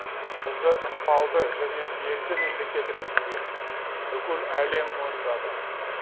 бізді ықпалды және белді мемлекет ретінде бүкіл әлем мойындады